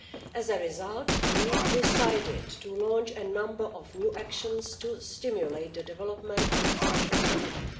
As a result, we decided to launch a number of new actions to stimulate the development of the social economy.